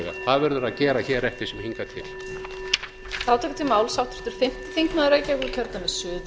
að gæta jafnræðis á milli þeirra sem í hlut eiga það verðum við að gera hér eftir sem hingað til